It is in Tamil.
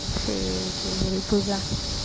சரி சரி பூஜா